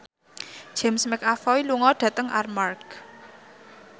James McAvoy lunga dhateng Armargh